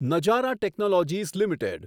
Nazara technologies limited